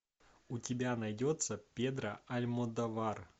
у тебя найдется педро альмодовар